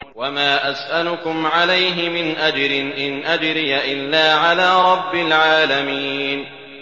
وَمَا أَسْأَلُكُمْ عَلَيْهِ مِنْ أَجْرٍ ۖ إِنْ أَجْرِيَ إِلَّا عَلَىٰ رَبِّ الْعَالَمِينَ